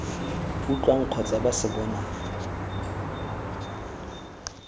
utlwang kgotsa ba se bonang